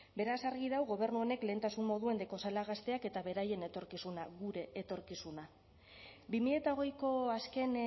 beraz argi dago gobernu honek lehentasun moduan daukazala gazteak eta beraien etorkizuna gure etorkizuna bi mila hogeiko azken